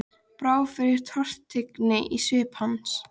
Brá fyrir tortryggni í svip hans?